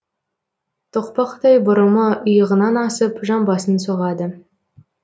тоқпақтай бұрымы иығынан асып жамбасын соғады